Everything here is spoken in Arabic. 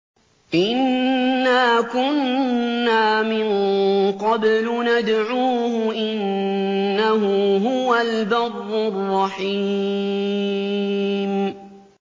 إِنَّا كُنَّا مِن قَبْلُ نَدْعُوهُ ۖ إِنَّهُ هُوَ الْبَرُّ الرَّحِيمُ